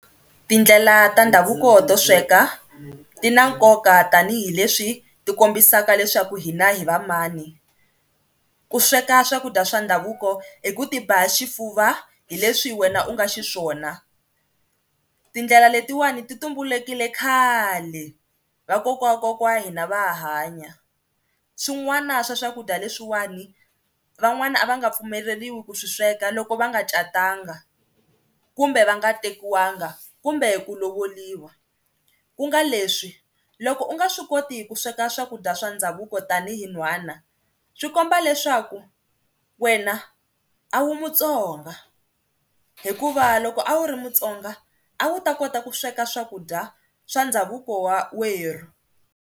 Tindlela ta ndhavuko to sweka ti na nkoka tanihileswi ti kombisaka leswaku hina hi va mani, ku sweka swakudya swa ndhavuko i ku ti ba xifuva hileswi wena u nga xiswona. Tindlela letin'wani ti tumbulukile khale vakokwana wa kokwana wa hina va ha hanya. Swin'wana swa swakudya leswiwani van'wana a va nga pfumeleriwi ku swi sweka loko va nga catanga kumbe va nga tekiwanga kumbe ku lovoriwa ku nga leswi loko u nga swi koti ku sweka swakudya swa ndhavuko tanihi n'hwana swi komba leswaku wena a wu muTsonga hikuva loko a wu ri muTsonga a wu ta kota ku sweka swakudya swa ndhavuko wa werhu.